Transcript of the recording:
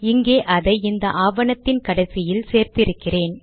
இங்கே அதை இந்த ஆவணத்தின் கடைசியில் சேர்த்து இருக்கிறேன்